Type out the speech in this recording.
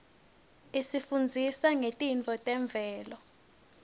isifundzisa ngetintfo temvelo